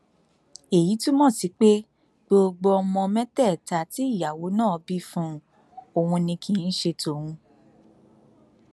èyí túmọ sí pé gbogbo ọmọ mẹtẹẹta tí ìyàwó náà bí fún òun ni kì í ṣe tòun